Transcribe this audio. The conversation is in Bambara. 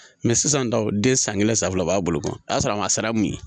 sisan dɔrɔn den san kelen san fila a b'a bolo o y'a sɔrɔ a ma sara mun ye